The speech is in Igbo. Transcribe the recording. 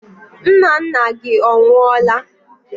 Nnanna gị ọ nwụọla?